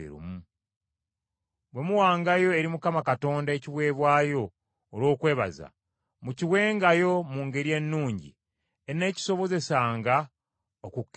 Bwe muwangayo eri Mukama Katonda ekiweebwayo olw’okwebaza, mukiwengayo mu ngeri ennungi eneekisobozesanga okukkirizibwa.